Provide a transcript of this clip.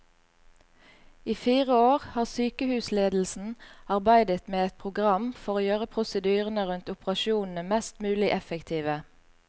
I fire år har sykehusledelsen arbeidet med et program for å gjøre prosedyrene rundt operasjonene mest mulig effektive.